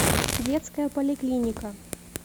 детская поликлиника